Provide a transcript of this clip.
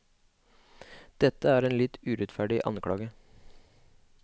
Dette er en litt urettferdig anklage.